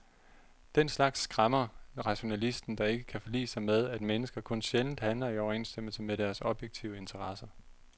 Den slags skræmmer rationalisten, der ikke kan forlige sig med, at mennesker kun sjældent handler i overensstemmelse med deres objektive interesser.